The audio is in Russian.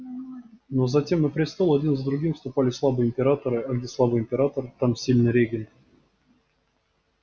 но затем на престол один за другим вступали слабые императоры а где слабый император там сильный регент